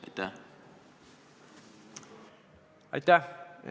Aitäh!